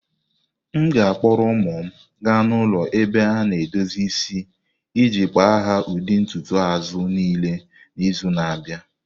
M ga-akpọrọ ụmụ m gaa n'ụlọ ebe a na edozi isi iji kpa ha ụdị ntutu azụ niile n'izu na-abịa.